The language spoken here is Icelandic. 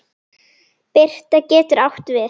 Birta getur átt við